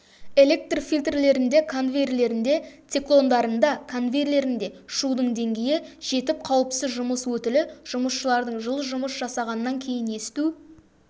электр фильтрлерінде конвейерлерінде циклондарында конвейерлерінде шудың деңгейі жетіп қауіпсіз жұмыс өтілі жұмысшылардың жыл жұмыс жасағаннан кейін есту